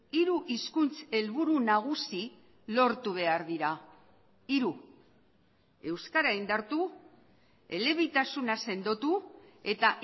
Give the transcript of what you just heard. hiru hizkuntz helburu nagusi lortu behar dira hiru euskara indartu elebitasuna sendotu eta